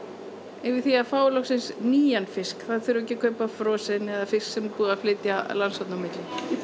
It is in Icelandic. yfir því að fá loksins nýjan fisk það þurfi ekki að kaupa frosinn eða fisk sem er búið að flytja landshorna á milli